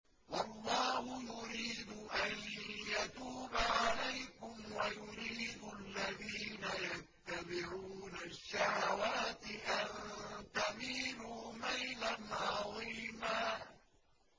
وَاللَّهُ يُرِيدُ أَن يَتُوبَ عَلَيْكُمْ وَيُرِيدُ الَّذِينَ يَتَّبِعُونَ الشَّهَوَاتِ أَن تَمِيلُوا مَيْلًا عَظِيمًا